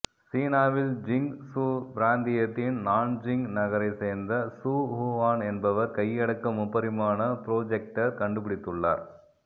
சீனாவில் Jiangsu பிராந்தியத்தின் Nanjing நகரைச் சேர்ந்த சூ ஹூவான் என்பவர் கையடக்க முப்பரிமாண புரோஜெக்டர் கண்டுபிடித்துள்ளார்